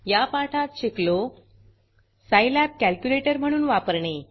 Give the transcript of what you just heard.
या पाठात शिकलो Scilabसाईलॅब कॅलक्युलेटर म्हणून वापरणे